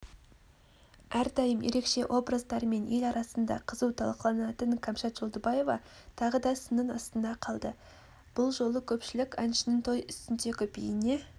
әрдайым ерекше образдарымен ел арасында қызу талқыланатын кәмшат жолдыбаева тағы да сынның астына қалды бұл жолы көпшілік әншінің той үстіндегі биіне